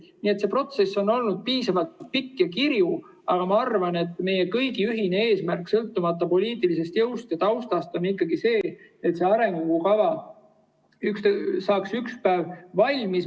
Nii et see protsess on olnud piisavalt pikk ja kirju, aga ma arvan, et meie kõigi ühine eesmärk, sõltumata poliitilisest jõust ja taustast, on ikkagi see, et arengukava saaks ükspäev valmis.